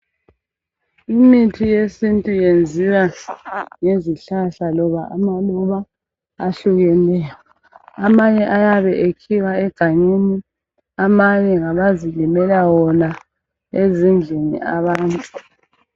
Imithi yesintu iyenziwa ngezihlahla loba amaluba ahlukeneyo, amanye ayabe ekhiwa egangeni amanye ngabazilimela wona ezindlini abantu.